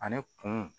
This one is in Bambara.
Ani kunun